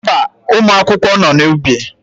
Mba, ụmụ akwụkwọ nọ n'ubi.